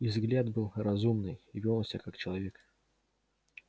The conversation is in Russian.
и взгляд был разумный и вёл он себя как человек